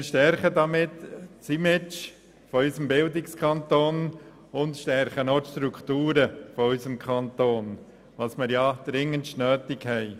Wir stärken damit das Image unseres Bildungskantons und die Strukturen unseres Kantons, was wir ja dringend benötigen.